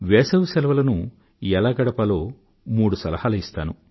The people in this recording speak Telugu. వేసవిసెలవులను ఎలా గడపాలో మూడు సలహాలు ఇస్తాను